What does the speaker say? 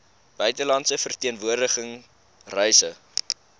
buitelandse verteenwoordiging reise